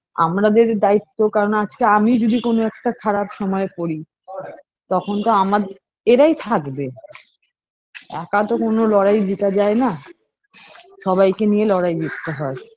আমরাদের দায়িত্ব কারণ আজকে আমি যদি কোনো একটা খারাপ সময়ে পরি তখন তো আমাদ এরাই থাকবে একা তো কোনো লড়াই জেতা যায় না সবাইকে নিয়ে লড়াই জিততে হয়ে